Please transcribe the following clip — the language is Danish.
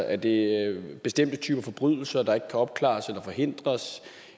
er det bestemte typer forbrydelser der ikke kan opklares eller forhindres